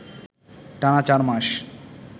টানা চার মাস